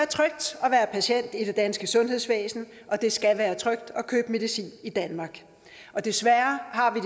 patient i det danske sundhedsvæsen og det skal være trygt at købe medicin i danmark desværre har vi